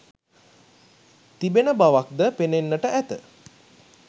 තිබෙන බවක්ද පෙනෙන්නට ඇත.